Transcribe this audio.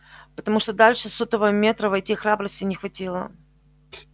потому что дальше сотого метра войти храбрости не хватило